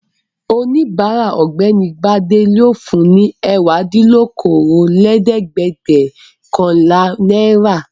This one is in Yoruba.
Oníbàárà Ọ̀gbẹ́ni Gbadé yóò fun ní ẹ̀wádínlókòólẹ́ẹ̀dẹ́gbẹ̀ọ̀kànlá náírà.